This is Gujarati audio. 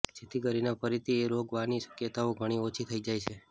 જેથી કરીને ફરીથી એ રોગ વાની શકયતાઓ ઘણી ઓછી થઈ જાય છે